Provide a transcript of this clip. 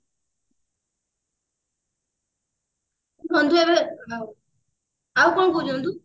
ନନ୍ଦୁ ଆମେ ଆଉ କଣ କହୁଛୁ ନନ୍ଦୁ